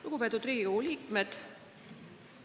Lugupeetud Riigikogu liikmed!